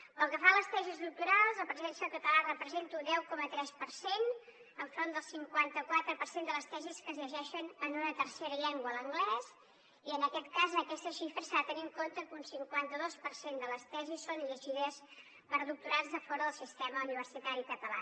pel que fa a les tesis doctorals la presència del català representa un deu coma tres per cent enfront del cinquanta quatre per cent de les tesis que es llegeixen en una tercera llengua l’anglès i en aquest cas en aquestes xifres s’ha de tenir en compte que un cinquanta dos per cent de les tesis són llegides per doctorats de fora del sistema universitari català